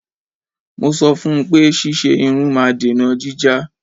Mo sọ fún un pé ṣíṣe irun máa dènà jíjá.